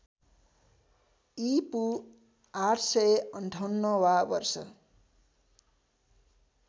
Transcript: ईपू ८५८ वा वर्ष